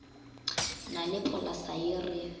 na le polasa ye re